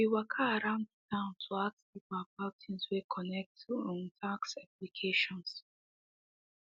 we waka round the town to ask people about things way connect to um tax obligations